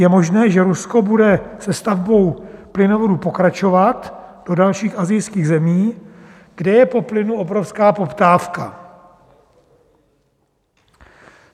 Je možné, že Rusko bude se stavbou plynovodu pokračovat do dalších asijských zemí, kde je po plynu obrovská poptávka.